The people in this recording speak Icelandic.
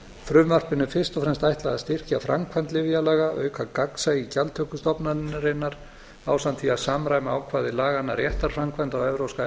frumvarpinu er fyrst og fremst ætlað að styrkja framkvæmd lyfjalaga auka gagnsæi í gjaldtöku stofnunarinnar ásamt því að samræma ákvæði laganna réttarframkvæmd á evrópska